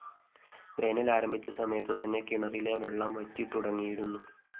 വേനല്‍ ആരംഭിച്ച സമയത്തു തന്നെ കിണറിലെ വെള്ളം വറ്റി തുടങ്ങിയിരുന്നു